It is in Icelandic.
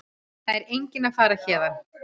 Það er enginn að fara héðan.